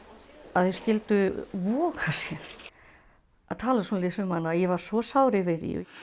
að þeir skyldu voga sér að tala svona um hana og ég var svo sár yfir því